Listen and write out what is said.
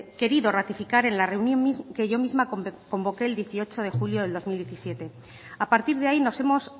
querido ratificar en la reunión que yo misma convoqué el dieciocho de julio de dos mil diecisiete a partir de ahí nos hemos